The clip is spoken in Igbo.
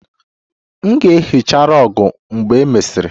M ga-ehicha rug mgbe e mesịrị